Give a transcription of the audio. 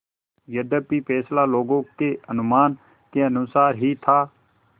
यद्यपि फैसला लोगों के अनुमान के अनुसार ही था